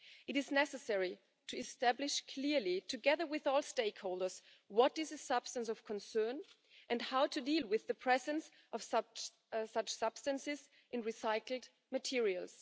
It is necessary to establish clearly, together with all stakeholders, what is a substance of concern and how to deal with the presence of such substances in recycled materials.